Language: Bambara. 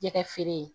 Jɛgɛ feere